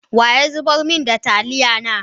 Wa ya zubar min da taliya na?